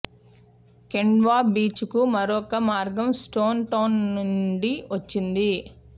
Kendwa beach కు మరొక మార్గం స్టోన్ టౌన్ నుండి వచ్చింది